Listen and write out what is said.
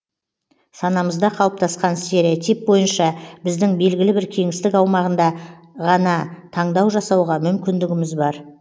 санамызда қалыптасқан стереотип бойынша біздің белгілі бір кеңістік аумағында ғана таңдау жасауға мүмкіндігіміз бар